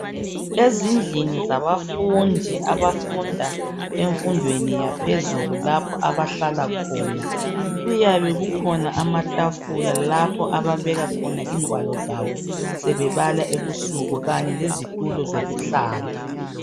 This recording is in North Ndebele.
ezindlini zabafundi abafunda emfundweni yaphezulu lapho abahlala khona kuyabe kukhona amatafula lapho ababeka khona ingwalo zabo sebebala ebusuku kanye lezitulo zokuhlala